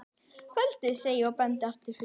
Kvöldið, segi ég og bendi aftur fyrir mig.